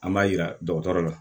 An b'a jira dɔgɔtɔrɔ la